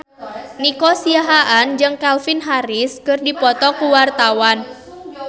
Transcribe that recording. Nico Siahaan jeung Calvin Harris keur dipoto ku wartawan